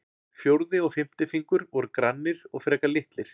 Fjórði og fimmti fingur voru grannir og frekar litlir.